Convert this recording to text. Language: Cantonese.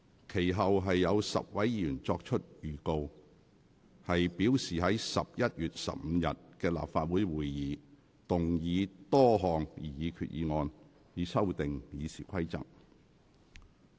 其後有10位議員作出預告，表示擬於11月15日的立法會會議，動議多項擬議決議案，以修訂《議事規則》。